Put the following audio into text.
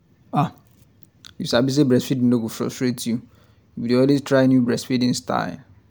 ah you sabi say breastfeeding no go frustrate you if you dey always try new breastfeeding styles